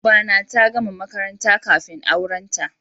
Yar uba na ta gama makaranta kafin aurenta